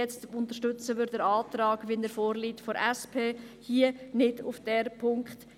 Jetzt unterstützen wir den vorliegenden Antrag der SP.